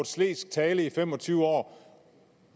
slesk tale i fem og tyve år